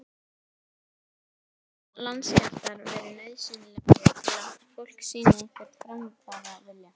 Fyrir sunnan hafa landskjálftar verið nauðsynlegir til að fólk sýni einhvern framfaravilja.